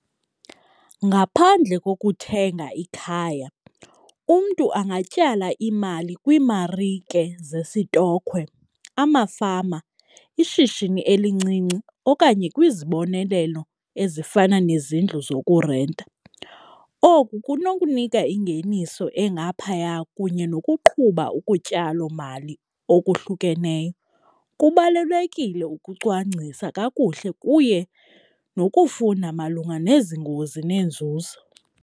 Ngaphandle kokuthenga ikhaya umntu angatyala imali kwiimarike zesitokhwe, amafama, ishishini elincinci okanye kwizibonelelo ezifana nezindlu zokurenta. Oku kunokunika ingeniso engaphaya kunye nokuqhuba ukutyalomali okuhlukeneyo. Kubalulekile ukucwangcisa kakuhle kuye nokufunda malunga nezi ngozi nenzuzo.